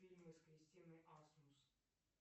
фильмы с кристиной асмус